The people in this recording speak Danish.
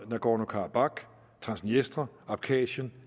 nagorno karabakh transniestre abkasien